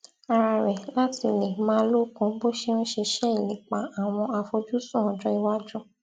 ara rè láti lè máa lókun bó ṣe ń ṣiṣẹ ìlépa àwọn àfojúsùn ọjó iwájú